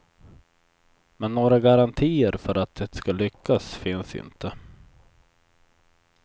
Men några garantier för att det ska lyckas finns inte.